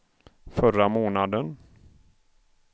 förra månaden